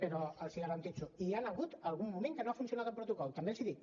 però els ho garanteixo hi ha hagut algun moment en què no ha funcionat el protocol també els ho dic